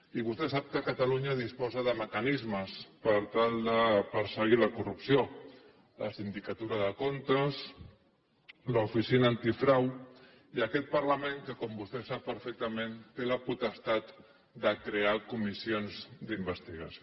i vostè sap que catalunya disposa de mecanismes per tal de perseguir la corrupció la sindicatura de comptes l’oficina antifrau i aquest parlament que com vostè sap perfectament té la potestat de crear comissions d’investigació